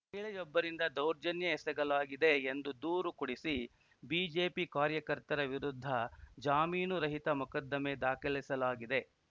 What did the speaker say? ಮಹಿಳೆಯೊಬ್ಬರಿಂದ ದೌರ್ಜನ್ಯ ಎಸಗಲಾಗಿದೆ ಎಂದು ದೂರು ಕೊಡಿಸಿ ಬಿಜೆಪಿ ಕಾರ್ಯಕರ್ತರ ವಿರುದ್ಧ ಜಾಮೀನು ರಹಿತ ಮೊಕದ್ದಮೆ ದಾಖಲಿಸಲಾಗಿದೆ